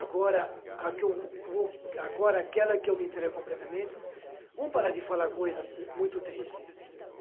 Agora, a que eu vou, agora aquela que eu me entrego completamente, vamos parar de falar coisa muito triste.